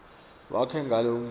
wakhe ngalo umusho